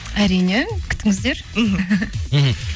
әрине күтіңіздер мхм мхм